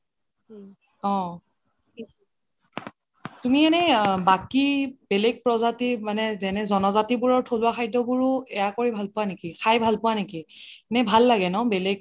অহ তুমি এনে বাকি বেলেগ প্ৰজাতিৰ মানে জন জাতিৰবোৰ থলুৱা খাদ্যবোৰও এইআ কৰি ভাল পোৱা নেকি খাই ভাল পোৱা নেকি এনে ভাল লাগে ন বেলেগ